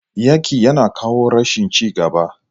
Yaki yana kawo rashin ci gaba.